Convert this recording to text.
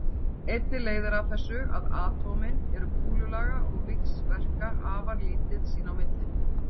Einnig leiðir af þessu að atómin eru kúlulaga og víxlverka afar lítið sín á milli.